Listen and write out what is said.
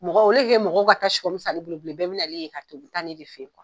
Mɔgɔ mɔgɔ ka taa san ale bolo bilen bɛɛ bina ye ka ton yen, u bi taa ne de fe yen